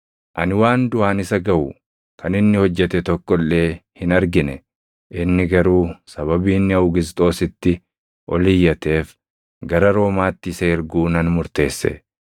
Ani waan duʼaan isa gaʼu kan inni hojjete tokko illee hin argine; ani garuu sababii inni Awugisxoositti ol iyyateef gara Roomaatti isa erguu nan murteesse.